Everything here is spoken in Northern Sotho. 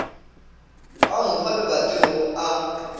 ga nkgo lebating go a